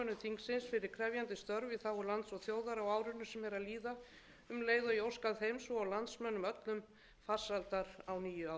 í þágu lands og þjóðar á árinu sem er að líða um leið og ég óska þeim svo og landsmönnum öllum farsældar á nýju ári